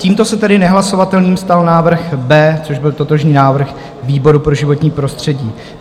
Tímto se tedy nehlasovatelným stal návrh B, což byl totožný návrh výboru pro životní prostředí.